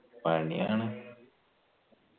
പണിയാണ്